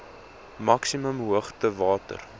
maksimum hoogte water